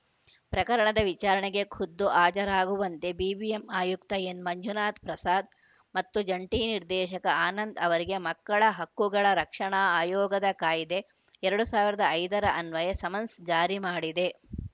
ಪ್ರಕರಣದ ವಿಚಾರಣೆಗೆ ಖುದ್ದು ಹಾಜರಾಗುವಂತೆ ಬಿಬಿಎಂಪಿ ಆಯುಕ್ತ ಎನ್‌ಮಂಜುನಾಥ್‌ ಪ್ರಸಾದ್‌ ಮತ್ತು ಜಂಟಿ ನಿರ್ದೇಶಕ ಆನಂದ್‌ ಅವರಿಗೆ ಮಕ್ಕಳ ಹಕ್ಕುಗಳ ರಕ್ಷಣಾ ಆಯೋಗದ ಕಾಯ್ದೆ ಎರಡ್ ಸಾವಿರದ ಐದರ ಅನ್ವಯ ಸಮನ್ಸ್‌ ಜಾರಿ ಮಾಡಿದೆ